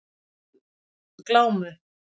Glámu